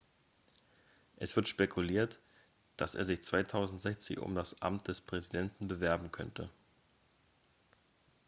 es wird spekuliert dass er sich 2016 um das amt des präsidenten bewerben könnte